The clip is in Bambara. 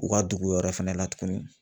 U ka dugu wɛrɛ fɛnɛ la tugunni